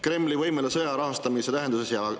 Kremli võimele sõja rahastamise tähenduses?